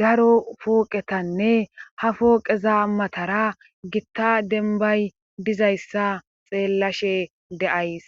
daro pooqetanne ha fooqeza matara gitta denbay dizayssa xeellashe de'ays.